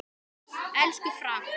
Elsku Frank.